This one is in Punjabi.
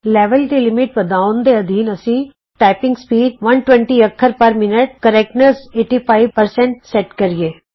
ਲੈਵਲ ਦੀ ਲਿਮਿਟ ਵਧਾਉਣ ਦੇ ਅਧੀਨ ਆਉ ਅਸੀਂ160 ਟਾਈਪਿੰਗ ਸਪੀਡ 120 ਅੱਖਰ ਪਰ ਮਿੰਟ ਸ਼ੁੱਧਤਾ 85 ਸੈਟ ਕਰੀਏ